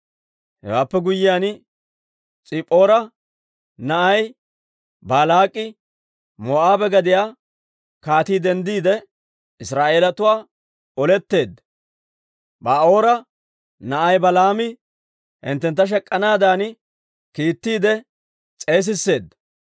Hewaappe guyyiyaan S'ippoora na'ay Baalaak'i, Moo'aabe gadiyaa kaatii denddiide, Israa'eelatuwaana oletteedda. Ba'oora na'ay Balaami hinttentta shek'k'anaadan, kiittiide s'eesisseedda;